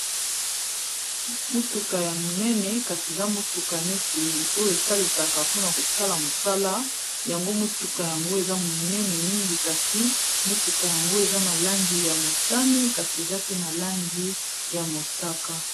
Motuka ya monene, kasi eza motuka neti oyo esalisaka mpona kosala mosala. Yango motuka yango, eza monene mingi. Kasi motuka yango, eza na langi ya motane, kasi eza pe na langi ya mosaka.